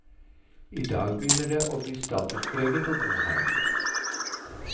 I dag begynner det å bli statuspreget å bo her.